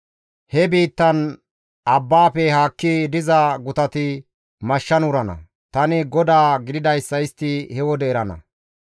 He biittan abbaafe haakki diza gutati mashshan wurana; tani GODAA gididayssa istti he wode erana.